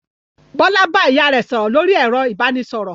Bọ́lá bá ìyá rẹ̀ sọ̀rọ̀ lórí ẹ̀rọ ìbanisọ̀rọ̀?